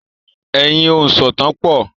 Ẹ yí òǹsọ̀tàn po!